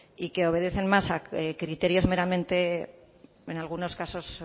y que obedecen más a criterios meramente en algunos casos